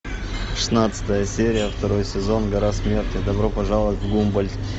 шестнадцатая серия второй сезон гора смерти добро пожаловать в гумбольдт